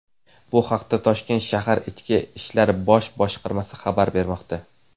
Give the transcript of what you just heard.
Bu haqda toshkent shahar Ichki ishlar bosh boshqarmasi xabar bermoqda.